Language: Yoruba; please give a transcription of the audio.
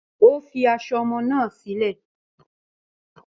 Ó fi aṣọ ọmọ náà sílẹ̀.